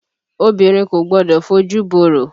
Obìnrin Kò gbọdọ̀ fojù borò.